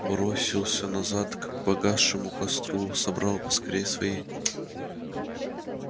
бросился назад к погасшему костру собрал поскорее свои